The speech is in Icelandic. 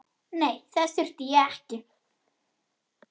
Nei, þess þurfti ég ekki.